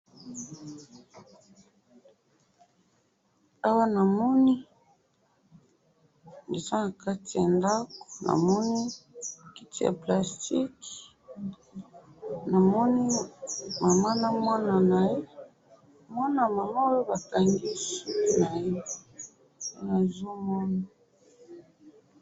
awa na moni eza na kati ya ndaku namoni kiti ya plastic na moni mama na mwana naye mwana mama oyo bakangesiye nazo mona